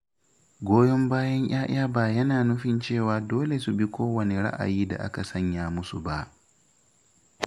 Goyon bayan ‘ya’ya ba yana nufin cewa dole su bi kowane ra’ayi da aka sanya musu ba.